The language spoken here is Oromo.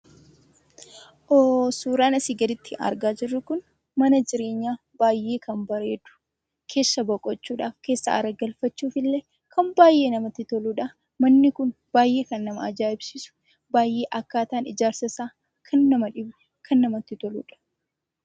Suuraan asii gaditti argaa jirru kun mana jireenyaa baay'ee kan bareedu, keessa boqochuufi keessa aaragalfachuuf illee baay'ee namatti toludha. Manni kun baay'ee kan nama ajaa'ibsiisudha. Akkaataan ijaarsa isaa baay'ee kan nama dhibu, kan namatti toludha.